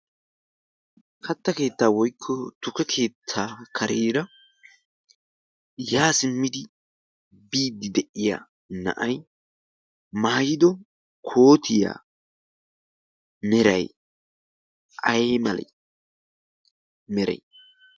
katta keettaa woykko tuke keettaa kareera yaa simmidi biiddi de'iya na'ai maayido kootiyaa merai ai malai meray?